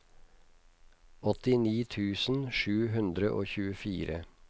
åttini tusen sju hundre og tjuefire